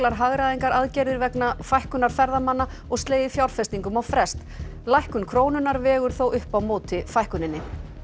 hagræðingaraðgerðir vegna fækkunar ferðamanna og slegið fjárfestingum á frest lækkun krónunnar vegur þó upp á móti fækkuninni